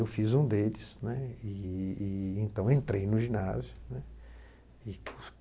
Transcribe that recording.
Eu fiz um deles, né, e e então entrei no ginásio, né.